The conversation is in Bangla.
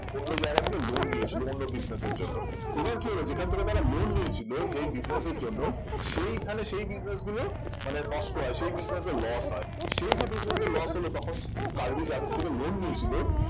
অন্য জায়গা থেকে loan নিয়েছিল অন্য business র জন্য এবার কি হলো যেখান থেকে loan নিয়েছিল যেই business র জন্য সেই খানে সেই business গুলো মানে নষ্ট হয় সেই business এ loss হয় সেই যে business এ loss হল তখন কার্ভি যাদের থেকে loan নিয়েছিল